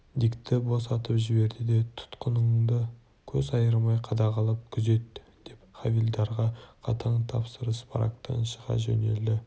дикті босатып жіберді де тұтқынды көз айырмай қадағалап күзет деп хавильдарға қатаң тапсырып барактан шыға жөнелді